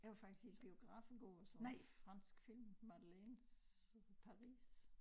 Jeg var faktisk i biografen i går og så en fransk film Madeleines Paris